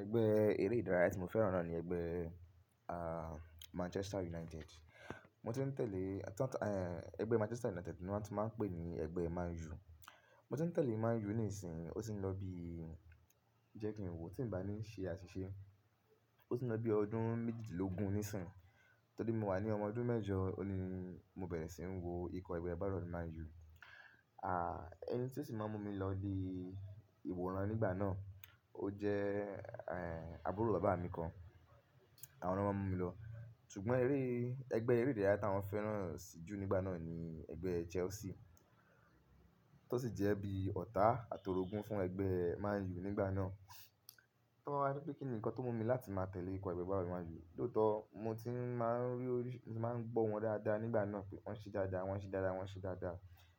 Ẹgbẹ́ eré ìdárayá tí mo fẹ́ràn náà ni ẹgbẹ́, ah, Manchester United. Mo ti ń tẹ̀lé, táń, ẹ ẹgbẹ́ Manchester United tí wọ́n á tu máa ń pè ní ẹgbẹ́ Man U. Mo ti ń tẹ̀lé Man U níí sin, ó ti ń lọ bí i jẹ́ kí n wò, tí ì bá ní ṣe àṣìṣe, ó ti ń lọ bí i ọdún méjìdínlógún ní sìn. Torí mo wà ní ọmọ ọdún mẹ́jọ ni mo bẹ̀rẹ̀ sí ń wo ikọ̀ ẹgbẹ́ agbábọ́ọ̀lù Man U. Ah, ẹni tí ó sì máa ń mú mi lọ di ìwòran nígbà náà, ó jẹ́, ehn, àbúrò bàbá mi kan. Àwọn náà máa ń mú mi lọ. Sugbọn eré, ẹgbẹ́ eré ìdárayá tí wọ́n fẹ́ràn sì jù nígbà náà ni ẹgbẹ́ Chelsea, tó sì jẹ́ bí i ọ̀tá àtorogún fún ẹgbẹ́ Man U nígbà náà. Tọ́ ba ní pé kí ni nǹkan tó mú mi láti máa tẹ̀lé ikọ̀ ẹgbẹ́ agbábọ́ọ̀lù Man U. Lóòótọ́ mo ti n máa ń rí orí-- ti máa ń gbọ́ wọn dáadáa nígbà náà pé wọ́n ṣe dáadáa, wọ́n ṣe dáadáa, wọ́n ṣe dáadáa.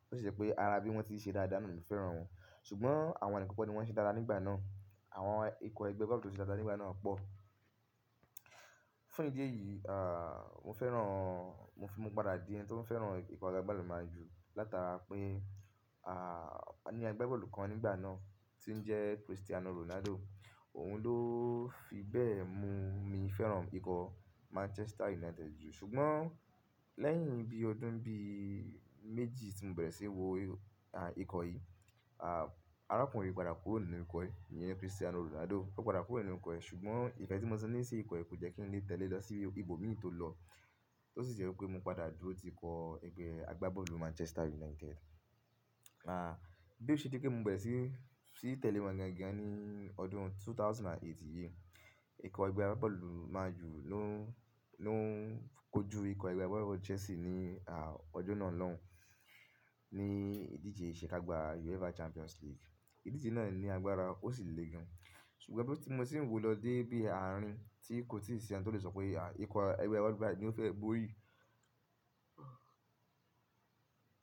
Ó sì ṣe pé ara bí i wọ́n ti ń ṣe dáadáa náà ni mo fẹ́ràn wọn. Sugbọn àwọn ni kan kọ̀ ni wọ́n ṣe dára nígbà náà. Àwọn ikọ̀ ẹgbẹ́ agbábọ́ọ̀lù tó ṣe dáadáa nígbà náà pọ̀. Fún ìdí èyí, ah, mo fẹ́ràn, mo fi mọ́ pada dí ẹni tí ó ń fẹ́ràn ikọ̀ ẹgbẹ́ agbábọ́ọ̀lù Man U látara pé, ah, a ni agbábọ́ọ̀lù kan nígbà náà tí ń jẹ́ Cristiano Ronaldo. Òun ló fi bẹ́ẹ̀ mú mi fẹ́ràn ikọ̀ Manchester United jù. Sugbón lẹ́yìn bí i ọdún bí i méjì tí mo bẹ̀rẹ̀ sí ń wo, ah, ikọ̀ yìí, ah, arákùnrin yìí padà kúrò nínú ikọ̀ yìí, èyí ni Cristiano Ronaldo. Ó padà kúrò nínú ikọ̀ yìí ṣùgbọ́n ìfẹ́ tí mo ṣe ní sí ikọ̀ yìí kò jẹ́ kí n lè tẹ̀lé lọ sí ibòmí tó lọ. Ó sì jẹ wipé mo padà dúró ti ikọ ẹgbẹ́ agbábọ́ọ̀lù Manchester United. Ah, bí ó ṣe dí pé mo bẹ̀rẹ̀ sí i, sí í tẹ̀lé wọn lẹ́ẹ́ gan ní ọdún ẹgbẹ̀rún méjì ó lé mẹ́jọ yìí, ikọ̀ ẹgbẹ́ agbábọ́ọ̀lù Man U ló, ló ń kojú ikọ̀ ẹgbẹ́ agbábọ́ọ̀lù Chelsea ní, ah, ọjọ́ náà lọ́hùn, ní ìdíje ìṣekágbá UEFA Champions League. Ìdíje náà ní agbára, ó sì le gan. Sugbọn bí tí mo sì ń wò lọ dé bí i àárín tí kò tíì sí ẹni tó lè sọ pé, ah, ikọ̀ ẹgbẹ́ agbábọ́ọ̀lù gbígbà ni ó fẹ́ bóri.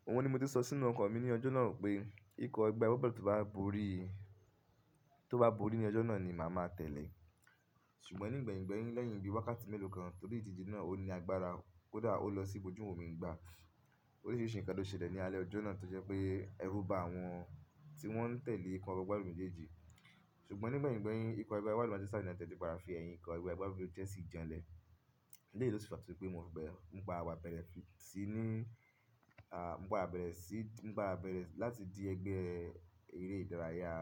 Ohun ni mo ti sọ sínú ọkọ̀ mi ní ọjọ́ náà pé ikọ̀ ẹgbẹ́ agbábọ́ọ̀lù tó bá bóri, tó bá bóri ní ọjọ́ náà ni màá ma tẹ̀lé. Ṣùgbọ́n nígbẹ̀yìngbẹ̀yìn lẹ́yìn bí i wákàtí mélòó kan torí ìdíje náà ó ní agbára, ó dàá ó lọ sí ibojú òmi ìgbà. Ó rí sí ìṣìkán tó ṣẹlẹ̀ ní alẹ́ ọjọ́ náà tó jẹ́ pé ẹrú bá àwọn tí wọ́n ń tẹ̀lé ikọ̀ ẹgbẹ́ agbábọ́ọ̀lù méjèèjì. Ṣùgbọ́n nígbẹ̀yìngbẹ̀yìn ikọ̀ ẹgbẹ́ agbábọ́ọ̀lù Manchester United ti padà fi ẹ̀yìn ikọ̀ ẹgbẹ́ agbábọ́ọ̀lù Chelsea jań lẹ. Eleyii lo tu n fa tó di pé mo bẹ́rẹ̀, mo pada wa bẹrẹ sí i ní, ah, mo gbà bẹ̀rẹ̀ sí, mo gbà àbẹ̀rẹ̀ láti di ẹgbẹ́ eré ìdárayá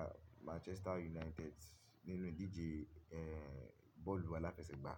Manchester United nínú ìdíje, ehn, bọ́ọ̀lù aláfẹsẹ̀gbá.